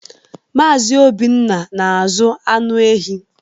Mazị Obiora na-azụ anụ ehi.